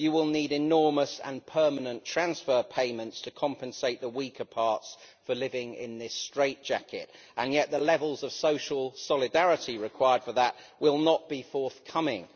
You will need enormous and permanent transfer payments to compensate the weaker parts for living in this straitjacket, and yet the levels of social solidarity required for that will not be forthcoming.